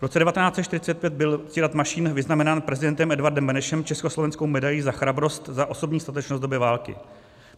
V roce 1945 byl Ctirad Mašín vyznamenán prezidentem Edvardem Benešem československou medailí Za chrabrost za osobní statečnost v době války.